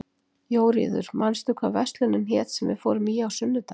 Jóríður, manstu hvað verslunin hét sem við fórum í á sunnudaginn?